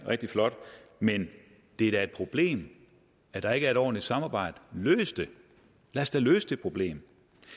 rigtig flot men det er et problem at der ikke er et ordentligt samarbejde løs det lad os da løse det problem